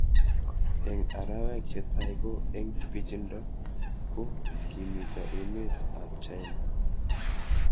Eng' arawek che tai ko eng' pichindo ko kimito emet ab China